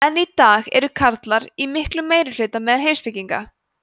enn í dag eru karlar í miklum meirihluta meðal heimspekinga